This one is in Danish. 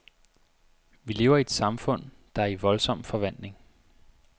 Vi lever i et samfund, der er i voldsom forvandling.